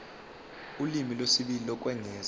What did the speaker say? ulimi lwesibili lokwengeza